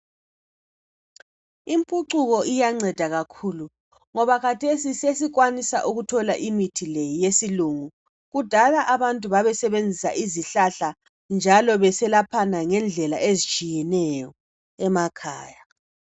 Impucuko kuyanceda kakhulu, ngoba khathesi sesikwanisa ukuthola imithi eyesilungu. Kudala abantu babesebenzisa izihlahla njalo beselaphana ngendlela ezitshiyeneyo emakhaya.